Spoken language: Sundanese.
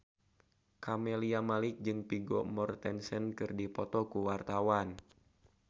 Camelia Malik jeung Vigo Mortensen keur dipoto ku wartawan